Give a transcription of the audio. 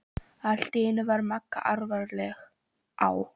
Allt í einu varð Magga alvarleg: Á